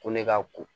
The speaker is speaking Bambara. Ko ne ka ko